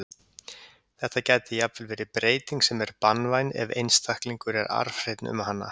Þetta gæti jafnvel verið breyting sem er banvæn ef einstaklingur er arfhreinn um hana.